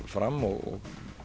fram og